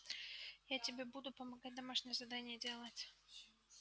я тебе буду помогать домашнее задание делать